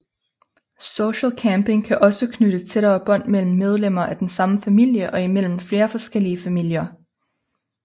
Social camping kan også knytte tættere bånd mellem medlemmer af den samme familie og imellem flere forskellige familier